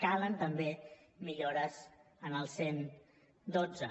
calen també millores en el cent i dotze